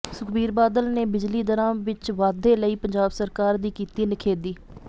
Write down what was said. ਸੁਖਬੀਰ ਬਾਦਲ ਨੇ ਬਿਜਲੀ ਦਰਾਂ ਵਿਚ ਵਾਧੇ ਲਈ ਪੰਜਾਬ ਸਰਕਾਰ ਦੀ ਕੀਤੀ ਨਿਖੇਧੀ